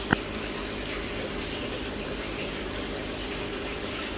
ты можешь показать киношку в манере программы о путешествиях